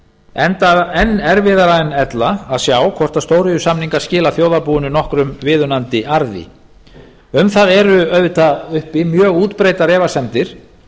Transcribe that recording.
enda enn erfiðara en ella að sjá hvort stóriðjusamningar skila þjóðarbúinu nokkrum viðunandi arði um það eru auðvitað uppi mjög útbreiddar efasemdir